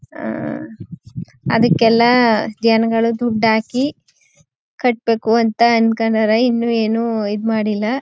ಅದ್ಕಯೆಲ್ಲ ಜನಗಳು ದೊಡ್ದು ಹಾಕಿ ಕಟ್ಟಬೇಕು ಅಂತ ಅನ್ಕೊಂಡರೆ ಇನ್ನು ಏನು ಇದ್ ಮಾಡಿಲ್ಲ.--